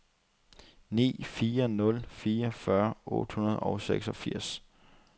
ni fire nul fire fyrre otte hundrede og seksogfirs